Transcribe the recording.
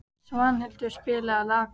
Svanhildur, spilaðu lag.